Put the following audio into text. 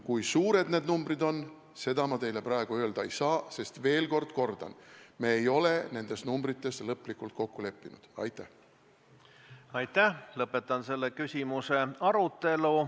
Kui suured need numbrid on, seda ma teile praegu öelda ei saa, sest – ütlen veel kord – me ei ole nendes lõplikult kokku leppinud.